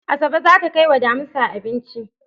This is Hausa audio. Asabe zata kai wa damisa abinci